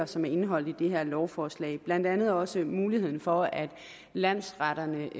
som er indeholdt i det her lovforslag blandt andet også muligheden for at landsretterne